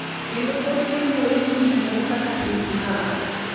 Kendo thothgi luwore gi gikmoko kaka hik ng`ato.